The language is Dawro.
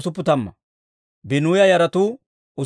Bigiwaaya yaratuu 2,067.